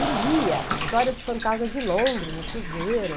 E lia História dos Fantasmas de Londres no Cruzeiro.